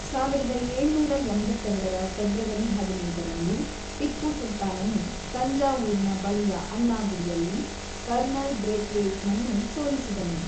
ಸಾವಿರದ ಏಳುನೂರ ಎಂಬತ್ತೆರಡರ ಫೆಬ್ರವರಿ ಹದಿನೆಂಟರಂದು ಟಿಪ್ಪು ಸುಲ್ತಾನನು ತಂಜಾವೂರಿನ ಬಳಿಯ ಅನ್ನಾಗುಡಿಯಲ್ಲಿ ಕರ್ನಲ್ ಬ್ರೇತ್‌ವೇಯ್ಟ್‌ನನ್ನು ಸೋಲಿಸಿದನು.